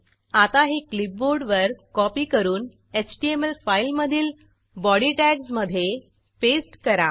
आता हे क्लिपबोर्डवर कॉपी करून एचटीएमएल फाईलमधील बॉडी टॅग्जमधे पेस्ट करा